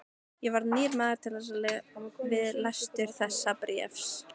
Ég varð nýr maður við lestur þessa bréfs.